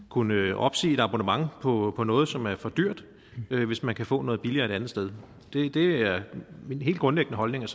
kunne opsige et abonnement på på noget som er for dyrt hvis man kan få noget billigere et andet sted det er min helt grundlæggende holdning at